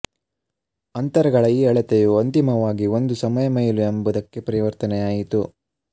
ಅಂತರಗಳ ಈ ಅಳತೆಯು ಅಂತಿಮವಾಗಿ ಒಂದು ಸಮಯಮೈಲು ಎಂಬುದಕ್ಕೆ ಪರಿವರ್ತನೆಯಾಯಿತು